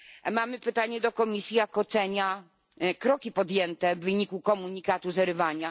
Mamy pytanie do Komisji, jak ocenia kroki podjęte w wyniku komunikatu z Erywania?